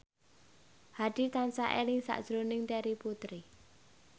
Hadi tansah eling sakjroning Terry Putri